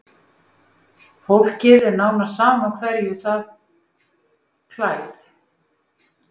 Fólki er nánast sama hverju það klæð